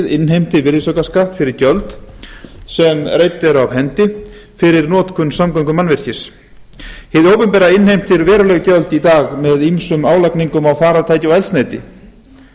innheimti virðisaukaskatt fyrir gjöld sem reidd eru af hendi fyrir notkun samgöngumannvirkis hið opinbera innheimtir veruleg gjöld í dag með ýmsum álagningum á farartæki og eldsneyti